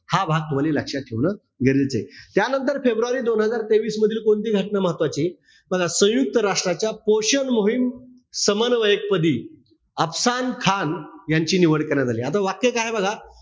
हा भाग तुम्हाला लक्षात ठेवणं गरजेचं आहे. त्यानंतर फेब्रुवारी दोन हजार तेवीस मधील कोणती घटना महत्वचीय. सयुंक्त राष्ट्राच्या पोषण मोहीम, समन्वयक पदी अफसान खान यांची निवड करण्यात आली. आता इथे काय बघा.